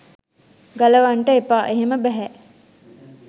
ගලවන්ට එපා." එහෙම බැහැ.